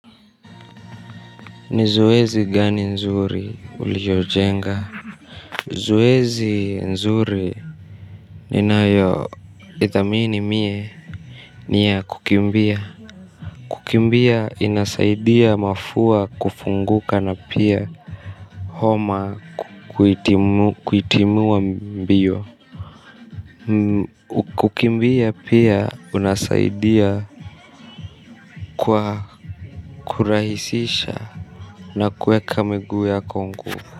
Ni zoezi gani nzuri uliojenga. Ni zoezi nzuri ninayoithamini mie ni ya kukimbia. Kukimbia inasaidia mafua kufunguka na pia Homa Kuitimua mbiyo kukimbia pia unasaidia. Kwa kurahisisha na kuweka miguu yako nguvu.